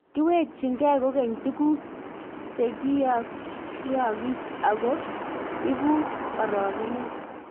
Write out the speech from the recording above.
kiwekchigei kukeny tuguk che kiakuyaagis, aku ibu orokonet